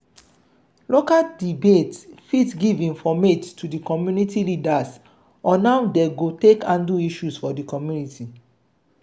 local debate fit give informate to di community leaders on how dem go take handle issues for di community